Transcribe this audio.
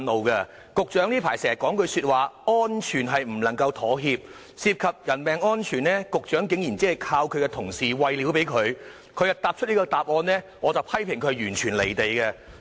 雖然局長近來經常說"安全不能夠妥協"，但對於涉及人命的樓宇安全，他竟然只是依靠同事給予的資料而作出這答覆，顯示他完全"離地"。